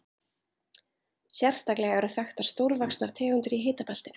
Sérstaklega eru þekktar stórvaxnar tegundir í hitabeltinu.